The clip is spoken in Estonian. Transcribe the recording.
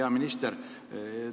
Hea minister!